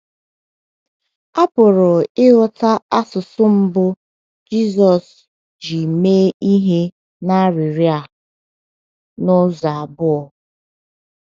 A pụrụ ịghọta asụsụ mbụ Jizọs ji mee ihe n’arịrịọ a n’ụzọ abụọ.